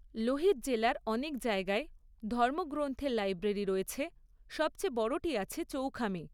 লোহিত জেলার অনেক জায়গায় ধর্মগ্রন্থের লাইব্রেরি রয়েছে, সবচেয়ে বড়টি আছে চৌখামে।